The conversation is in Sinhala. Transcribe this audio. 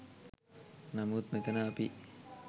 නමුත් මෙතන අපි